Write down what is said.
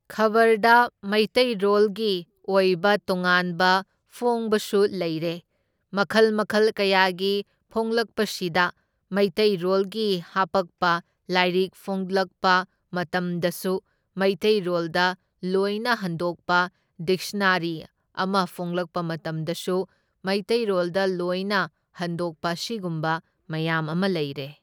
ꯈꯕꯔꯗ ꯃꯩꯇꯩꯔꯣꯜꯒꯤ ꯑꯣꯏꯕ ꯇꯣꯉꯥꯟꯕ ꯐꯣꯡꯕꯁꯨ ꯂꯩꯔꯦ, ꯃꯈꯜ ꯃꯈꯜ ꯀꯌꯥꯒꯤ ꯐꯣꯡꯂꯛꯄꯁꯤꯗ ꯃꯩꯇꯩꯔꯣꯜꯒꯤ ꯍꯥꯞꯄꯛꯄ ꯂꯥꯏꯔꯤꯛ ꯐꯣꯡꯂꯛꯄ ꯃꯇꯝꯗꯁꯨ ꯃꯩꯇꯩꯔꯣꯜꯗ ꯂꯣꯏꯅ ꯍꯟꯗꯣꯛꯄ ꯗꯤꯛꯁꯅꯥꯔꯤ ꯑꯃ ꯐꯣꯡꯂꯛꯄ ꯃꯇꯝꯗꯁꯨ ꯃꯩꯇꯩꯔꯣꯜꯗ ꯂꯣꯏꯅ ꯍꯟꯗꯣꯛꯄ ꯑꯁꯤꯒꯨꯝꯕ ꯃꯌꯥꯝ ꯑꯃ ꯂꯩꯔꯦ꯫